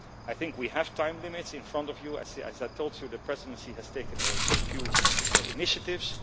I think we have time limits in front of us. As I told you, the Presidency has taken a few initiatives.